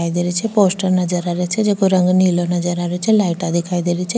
दिखाई दे रो छ पोस्टर नजर आ रहे छे जेको रंग नीलो नजर आ रो छे लाइटा दिखाई दे रही छे।